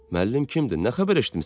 Müəllim kimdir, nə xəbər eşitmisən?